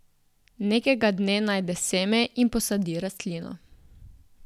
Nekega dne najde seme in posadi rastlino.